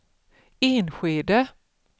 Enskede